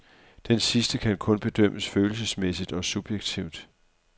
Denne sidste kan kun bedømmes følelsesmæssigt og subjektivt.